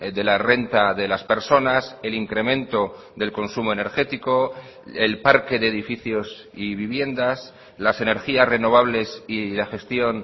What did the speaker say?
de la renta de las personas el incremento del consumo energético el parque de edificios y viviendas las energías renovables y la gestión